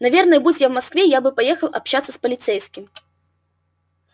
наверное будь я в москве я бы поехал общаться с полицейским